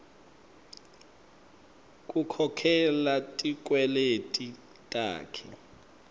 kukhokhela tikweleti takhe